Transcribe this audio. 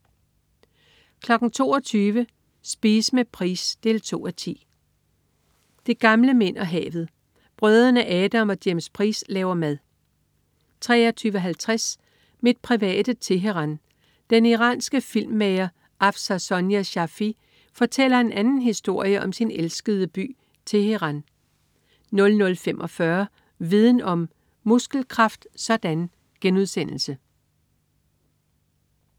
22.00 Spise med Price 2:10. "De Gamle Mænd og Havet". Brødrene Adam og James Price laver mad 23.50 Mit private Teheran. Den iranske filmmager Afsar Sonia Shafie fortæller en anden historie om sin elskede by, Teheran 00.45 Viden Om: Muskelkraft sådan!*